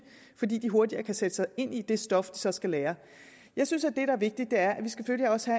fordi de hurtigere kan sætte sig ind i det stof de så skal lære jeg synes at det der er vigtigt er at vi selvfølgelig også